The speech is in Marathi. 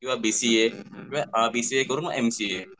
किंवा B C A B C A करून एम सी ए